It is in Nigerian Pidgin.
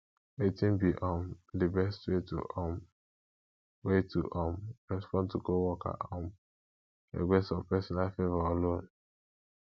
wetin be um di best way to um way to um respond to coworker um request for personal favor or loan